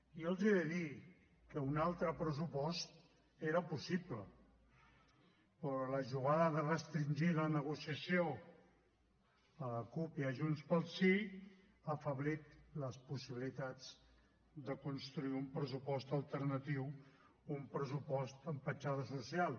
i jo els he de dir que un altre pressupost era possible però la jugada de restringir la negociació a la cup i a junts pel sí ha afeblit les possibilitats de construir un pressupost alternatiu un pressupost amb petjada social